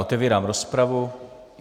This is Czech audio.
Otevírám rozpravu.